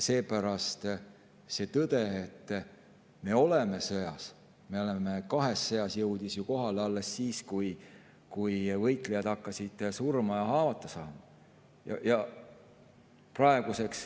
See tõde, et me oleme sõjas, et me oleme kahes sõjas, jõudis kohale alles siis, kui võitlejad hakkasid surma ja haavata saama.